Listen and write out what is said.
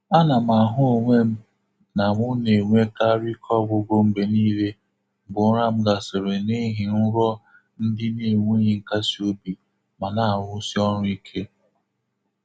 A na m ahụ onwe m na mụ na-enwekarị ike ọgwụgwụ mgbe niile mgbe ụra m gasịrị n'ihi nrọ ndị na-enweghị nkasi obi ma na-arụsi ọrụ ike.